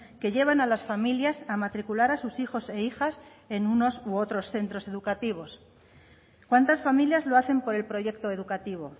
que llevan a las familias a matricular a sus hijos e hijas en unos u otros centros educativos cuántas familias lo hacen por el proyecto educativo